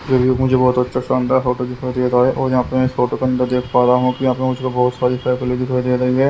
फिर भी मुझे बहोत अच्छा शानदार फोटो दिखाई दे रहा है और यहां पर इस फोटो के अंदर देख पा रहा हूं कि यहां पे मुझको बहोत सारी साइकिले दिखाई दे रही है।